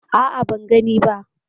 A'a, ban gani ba.